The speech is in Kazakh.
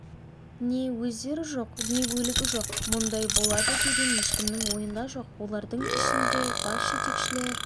не өздері жоқ не өлігі жоқ мұндай болады деген ешкімнің ойында жоқ олардың ішінде бас жетекшілер